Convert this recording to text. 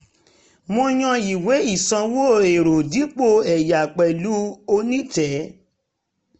mo yàn ìwé ìsanwó ẹ̀rọ dipo ẹ̀yà pẹ̀lú onítẹ̀